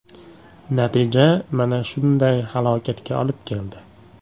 Natija mana shunday halokatga olib keldi.